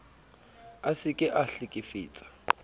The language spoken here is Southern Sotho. a se ke a hlekefetsa